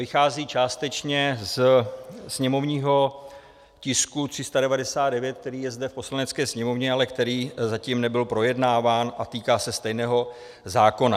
Vychází částečně ze sněmovního tisku 399, který je zde v Poslanecké sněmovně, ale který zatím nebyl projednáván a týká se stejného zákona.